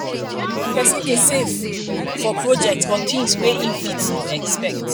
persin de save for de save for projects or things wey i'm fit no expect